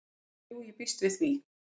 """Jú, ég býst við því"""